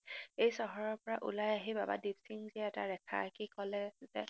এই চহৰৰপৰা ওলাই আহি বাবা দিপসিংজীয়ে এটা ৰেখা আকি কলে যে